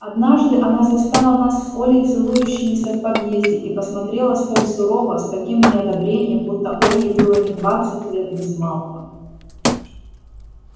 однажды она застала нас с олей целующимися в подъезде и посмотрела столь сурово с таким неодобрением будто ольге было не двадцать лет без малого